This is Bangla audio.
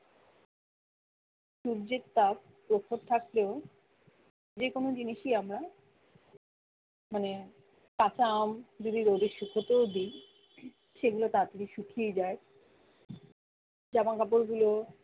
সূর্যের তাপ প্রখর থাকলেও যে কোনো জিনিসই আমরা মানে কাঁচা আম যদি রোদে শুকোতেও দিই সেগুলো তাড়াতাড়ি শুকিয়ে যায় জামাকাপড় গুলো